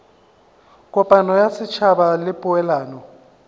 kopano ya setšhaba le poelano